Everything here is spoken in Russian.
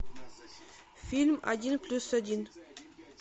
фильм один плюс один